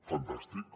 fantàstic